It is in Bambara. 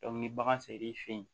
ni bagan sera i fɛ yen